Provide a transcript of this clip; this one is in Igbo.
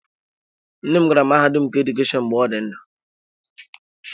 Nne m gara mahadum nke Edukeshọn mgbe ọ dị ndụ.